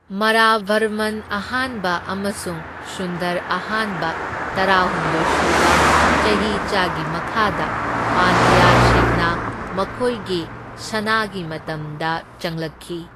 ꯃꯔꯥꯚꯔꯃꯟ ꯑꯍꯥꯟꯕ ꯑꯃꯁꯨꯡ ꯁꯨꯟꯗꯔ ꯑꯍꯥꯟꯕ ꯇꯔꯥꯍꯨꯝꯗꯣꯢ ꯁꯨꯕ ꯆꯍꯤꯆꯥ ꯒꯤ ꯃꯈꯥꯗ ꯄꯥꯟꯗ꯭ꯌꯥꯁꯤꯡꯅ ꯃꯈꯣꯏꯒꯤ ꯁꯅꯥꯒꯤ ꯃꯇꯝꯗ ꯆꯪꯂꯛꯈꯤ꯫